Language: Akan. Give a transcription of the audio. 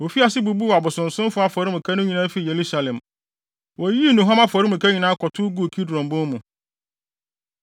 Wofii ase bubuu abosonsomfo afɔremuka no nyinaa fii Yerusalem. Woyiyii nnuhuam afɔremuka nyinaa kɔtow guu Kidron bon mu.